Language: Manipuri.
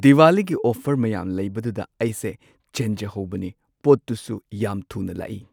ꯗꯤꯋꯥꯂꯤꯒꯤ ꯑꯣꯐꯔ ꯃꯌꯥꯝ ꯂꯩꯕꯗꯨꯗ ꯑꯩꯁꯦ ꯆꯦꯟꯖꯍꯧꯕꯅꯦ ꯄꯣꯠꯇꯨꯁꯨ ꯌꯥꯝ ꯊꯨꯅ ꯂꯥꯛꯢ ꯫